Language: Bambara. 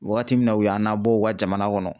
Wagati min na u y'an nabɔ u ka jamana kɔnɔ